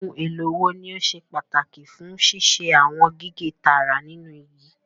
Ohun èlò wo ni ó ṣe pàtàkì fún ṣíṣe àwọn gígé tààrà nínú igi?